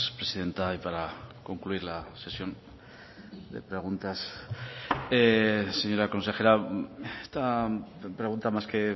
presidenta y para concluir la sesión de preguntas señora consejera esta pregunta más que